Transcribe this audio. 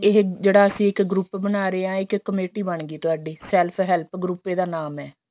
ਇਹ ਜਿਹੜਾ ਅਸੀਂ ਇੱਕ group ਬਣਾ ਰਹੇ ਹਾਂ ਇੱਕ ਕਮੇਟੀ ਬੰਨ ਗਈ ਤੁਹਾਡੀ self help group ਇਹਦਾ ਨਾਮ ਹੈ